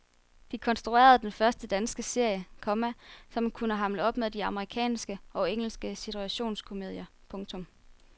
De konstruerede den første danske serie, komma som kunne hamle op med de amerikanske og engelske situationskomedier. punktum